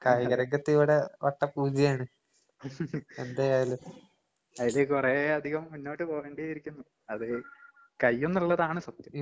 അയില് കൊറേയധികം മുന്നോട്ട് പോകേണ്ടിയിരിക്കുന്നു അത് കഴിയുന്നുള്ളതാണ് സത്യം.